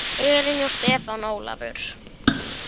Elín og Stefán Ólafur.